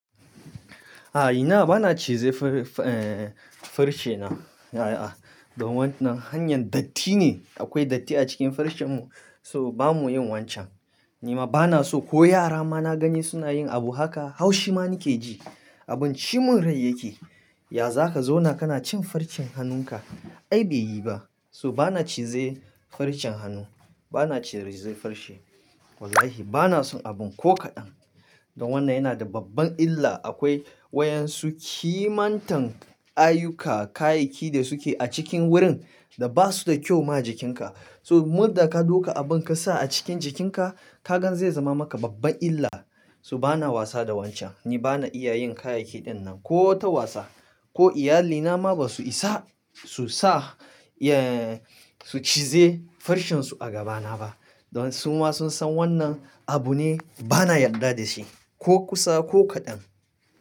A ina bana cize far-farce na. Da wannan hanyar datti ne, akwai datti a cikin farcenmu, so bamu yin wancan. Ni ma bana so ko yara ma na gani suna yin abu haka, haushi ma nake ji. Abin cimun rai yake. Ya za ka zauna kana cin farcen hannunka? Ai bai yi ba. So bana cize farcen hannu, bana cize farce. Wallahi bana son abun ko kaɗan. Da wannan yana da babban illa. Akwai wa yansu kimantan ayuka, kayayyaki da suke a cikin wurin da ba su da kyau ma jikinka. So murda ka ɗauka abun ka sa a cikin jikinka, ka gan zai zama maka babban illa. So bana wasa da wancan, ni bana iya yin kayayyaki ɗin nan ko ta wasa, ko iyalina ma ba su isa su sa, su cize farcen su a gabana ba. Don su ma sun san wannan abu ne bana yarda da shi ko kusa ko kaɗan.